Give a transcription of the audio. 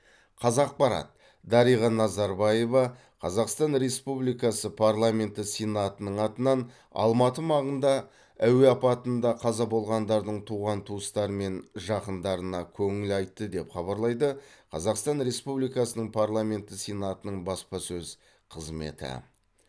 қазақпарат дариға назарбаева қазақстан республикасы парламенті сенатының атынан алматы маңында әуе апатында қаза болғандардың туған туыстары мен жақындарына көңіл айтты деп хабарлайды қазақстан республикасының парламенті сенатының баспасөз қызметі